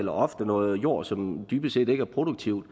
ofte noget jord som dybest set ikke er produktivt